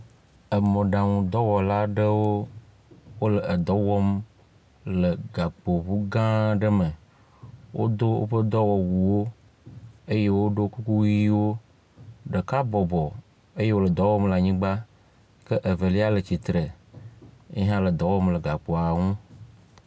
Mɔɖaŋudɔwɔla aɖewo le dɔ wɔm le gakpo ŋu gã aɖe me, wodo woƒe dɔwɔwuwo eye wodo kuku ʋiwo Ɖeka bɔbɔ eye wòle dɔ wɔm le anyigba ke ɖeka le tsitre yile dɔ wɔm le gakpoa ŋu.